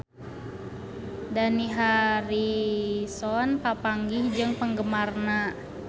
Dani Harrison papanggih jeung penggemarna